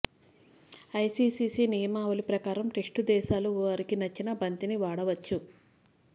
ICC నియమావళి ప్రకారం test దేశాలు వారికి నచ్చిన బంతిని వాడచ్చు